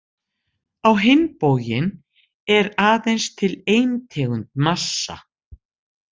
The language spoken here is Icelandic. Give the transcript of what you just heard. Á hinn bóginn er aðeins til ein tegund massa.